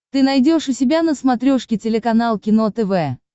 ты найдешь у себя на смотрешке телеканал кино тв